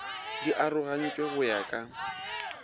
di arogantšwe go ya ka